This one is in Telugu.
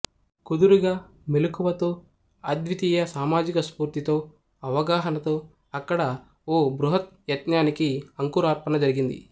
కుదురుగా మెలకువతో అద్వితీయ సామాజిక స్ఫూర్తితో అవగాహనతో అక్కడ ఓ బృహద్యత్నానికి అంకురార్పణ జరిగింది